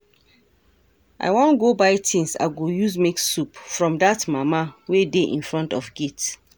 I wan go buy things I go use make soup from dat mama wey dey in front of gate.